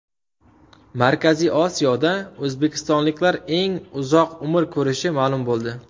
Markaziy Osiyoda o‘zbekistonliklar eng uzoq umr ko‘rishi ma’lum bo‘ldi.